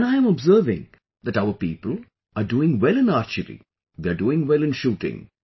And I'm observing that our people, are doing well in archery, they are doing well in shooting